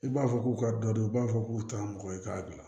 I b'a fɔ k'u ka dɔ don u b'a fɔ k'u taara mɔgɔ ye k'a bila